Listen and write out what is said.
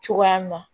Cogoya min na